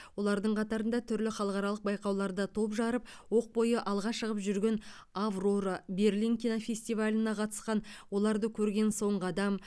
олардың қатарында түрлі халықаралық байқауларда топ жарып оқ бойы алға шығып жүрген аврора берлин кинофестиваліне қатысқан оларды көрген соңғы адам